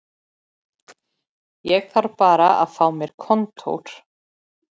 Ég þarf bara að fá mér kontór